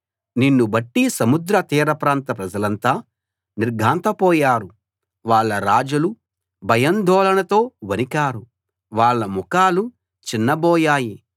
నిన్ను బట్టి సముద్ర తీరప్రాంత ప్రజలంతా నిర్ఘాంతపోయారు వాళ్ళ రాజులు భయాందోళనతో వణికారు వాళ్ళ ముఖాలు చిన్నబోయాయి